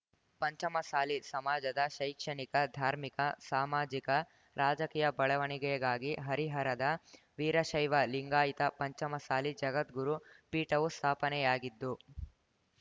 ಪಂಚಮಸಾಲಿ ಸಮಾಜದ ಶೈಕ್ಷಣಿಕ ಧಾರ್ಮಿಕ ಸಾಮಾಜಿಕ ರಾಜಕೀಯ ಬೆಳವಣಿಗೆಗಾಗಿ ಹರಿಹರದ ವೀರಶೈವ ಲಿಂಗಾಯತ ಪಂಚಮಸಾಲಿ ಜಗದ್ಗುರು ಪೀಠವು ಸ್ಥಾಪನೆಯಾಗಿದ್ದು